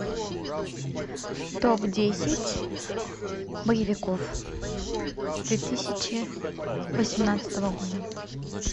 топ десять боевиков две тысячи восемнадцатого года